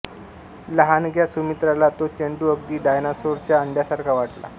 लहानग्या सुमित्राला तो चेंडू अगदी डायनासोरच्या अंड्यासारखा वाटला